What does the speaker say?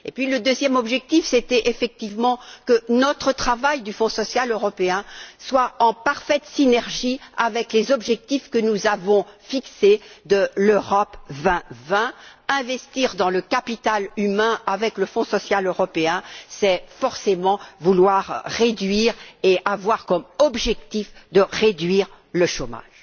Le deuxième objectif était effectivement que notre travail du Fonds social européen soit en parfaite synergie avec les objectifs que nous avons fixés pour la stratégie Europe 2020 investir dans le capital humain avec le Fonds social européen, c'est forcément vouloir réduire et avoir comme objectif de réduire le chômage.